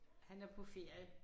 Han er på ferie